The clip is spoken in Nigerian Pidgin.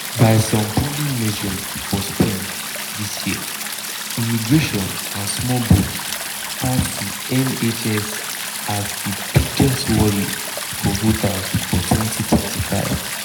by some polling measures for spring dis year immigration and small boats pass di nhs as di biggest worry for voters for 2025.